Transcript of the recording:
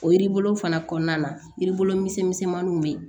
O yiri bulu fana kɔnɔna na yiribolonmisɛnninw bɛ yen